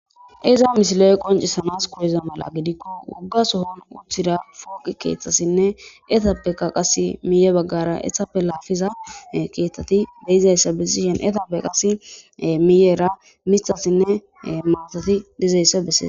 iza misile7e qoncissanas kuyeza mala gidikko wugga sohon uththida fooqi keeththassinne etappeka qas miye baggara ehappe laafiza keeththati beyizayssa bessishen etappe qas miyeera mithassinne maatoti dizayssa bessee